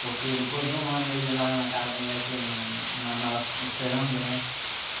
Porque depois de um ano ele lá na casa da minha tia em Manaus, esperando, né?